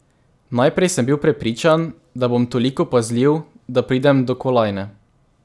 Najprej sem bil prepričan, da bom toliko pazljiv, da pridem do kolajne.